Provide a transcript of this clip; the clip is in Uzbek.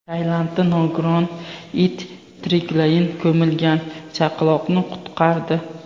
Tailandda nogiron it tiriklayin ko‘milgan chaqaloqni qutqardi.